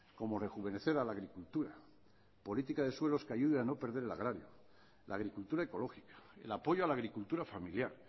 como rejuvenecer a la agricultura política de suelos que ayude a no perder el agrario la agricultura ecológica el apoyo a la agricultura familiar